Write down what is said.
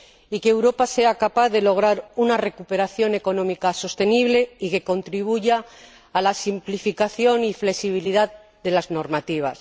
y que Europa sea capaz de lograr una recuperación económica sostenible y que contribuya a la simplificación y flexibilidad de las normativas.